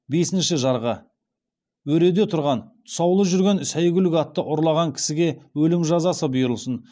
бесінші жарғы өреде тұрған тұсаулы жүрген сәйгүлік атты ұрлаған кісіге өлім жазасы бұйырылсын